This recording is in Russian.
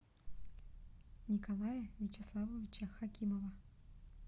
николая вячеславовича хакимова